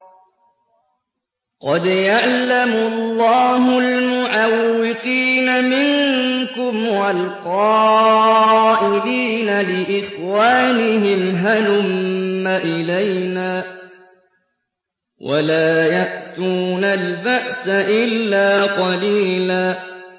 ۞ قَدْ يَعْلَمُ اللَّهُ الْمُعَوِّقِينَ مِنكُمْ وَالْقَائِلِينَ لِإِخْوَانِهِمْ هَلُمَّ إِلَيْنَا ۖ وَلَا يَأْتُونَ الْبَأْسَ إِلَّا قَلِيلًا